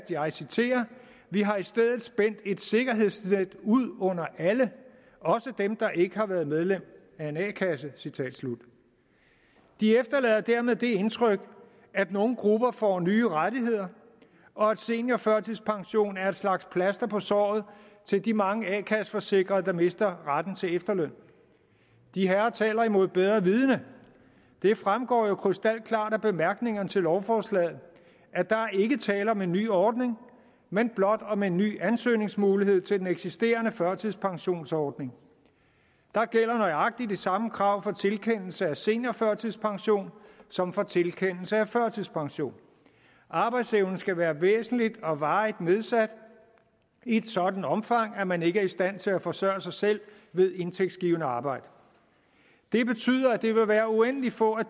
jeg citerer vi har i stedet spændt et sikkerhedsnet ud under alle også dem der ikke har været medlem af en a kasse de efterlader dermed det indtryk at nogle grupper får nye rettigheder og at seniorførtidspension er et slags plaster på såret til de mange a kasse forsikrede der mister retten til efterløn de herrer taler imod bedre vidende det fremgår jo krystalklart af bemærkningerne til lovforslaget at der ikke er tale om en ny ordning men blot om en ny ansøgningsmulighed til den eksisterende førtidspensionsordning der gælder nøjagtig de samme krav for tilkendelse af seniorførtidspension som for tilkendelse af førtidspension arbejdsevnen skal være væsentligt og varigt nedsat i et sådant omfang at man ikke er i stand til at forsørge sig selv ved indtægtsgivende arbejde det betyder at det vil være uendelig få af